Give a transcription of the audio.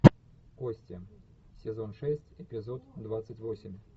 кости сезон шесть эпизод двадцать восемь